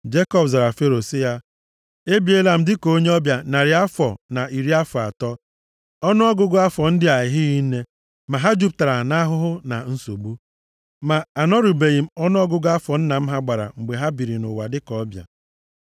Jekọb zara Fero sị ya: “Ebiela m dịka onye ọbịa narị afọ na iri afọ atọ. Ọnụọgụgụ afọ ndị a ehighị nne, ma ha jupụtara nʼahụhụ na nsogbu. Ma a nọrubeghị m ọnụọgụgụ afọ nna m ha gbara mgbe ha biri nʼụwa dịka ọbịa.”